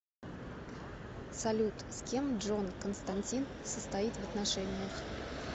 салют с кем джон константин состоит в отношениях